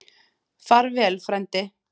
Far vel, frændi.